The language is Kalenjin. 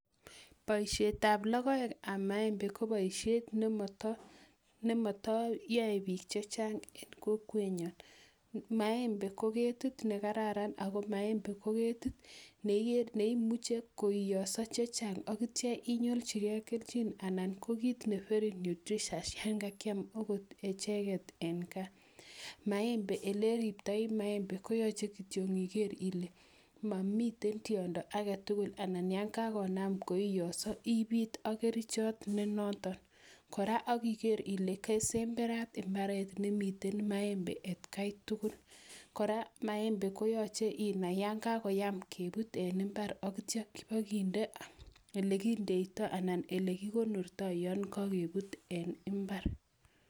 Boisitab logoek ak maembe ko boisiet ne moto, ne motoyoe biik chechang' eng kokwenyon. Maembe ko ketit ne kararan ago maembe neiger neimuche koiyoso chechang' agitio inyorchigei kelchin anan ko kit ne very nutritious ayan kakiam angot echet eng gaa. Maembe ele ribtei maembe koyoche kityo iger ile mamitei tiondo age tugul anan yo kagonam koiyoso ibit ak kerichot ne noton. Kora akiger ile kaisemberat imbaret nemiten maembe etkai tugul. Kora maembe koyoche inai yo kagoyam kebut en imbar agityo kibaginde ele kindeitoi anan ele kigonortoi yon kogebut en imbar.